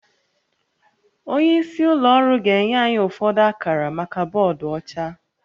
Onye isi ụlọ ọrụ ga-enye anyị ụfọdụ akara maka bọọdụ ọcha